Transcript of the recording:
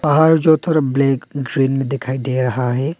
पहाड़ जो थोड़ा ब्लैक ग्रीन में दिखाई दे रहा है।